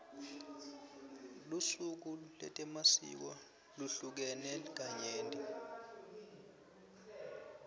lusuku letemasiko luhlukene kanyenti